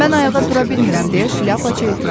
Mən ayağa dura bilmirəm, deyə şlyapaçı etiraz etdi.